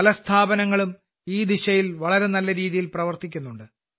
പല സ്ഥാപനങ്ങളും ഈ ദിശയിൽ വളരെ നല്ല രീതിയിൽ പ്രവർത്തിക്കുന്നുണ്ട്